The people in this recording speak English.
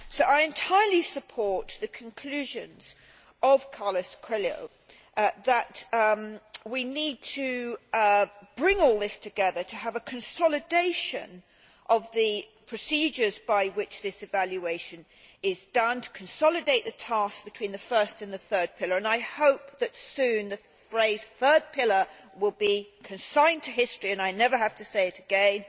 So I entirely support the conclusions of Carlos Coelho that we need to bring all this together, to have a consolidation of the procedures by which this evaluation is done, to consolidate the task between the first and the third pillar and I hope that soon the phrase third pillar' will be consigned to history and I never have to say it again